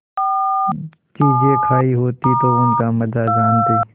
चीजें खायी होती तो उनका मजा जानतीं